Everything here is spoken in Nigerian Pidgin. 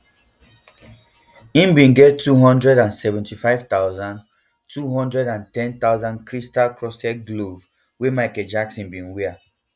im bin get two hundred and seventy-five thousand two hundred and ten thousand crystalencrusted glove wey michael jackson bin wear